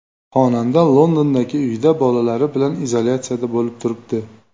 Xonanda Londondagi uyida bolalari bilan izolyatsiyada bo‘lib turibdi.